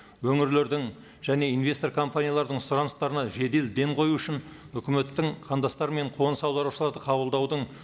өңірлердің және инвестор компаниялардың сұраныстарына жедел дем қою үшін үкіметтің қандастар мен қоныс аударушыларды қабылдаудың